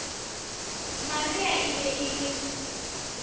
maria e be e le